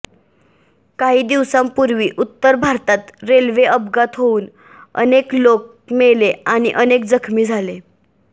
काही दिवसापूर्वी उत्तर भारतात रेल्वे अपघात होऊन अनेक लोक मेले आणि अनेक जखमी झाले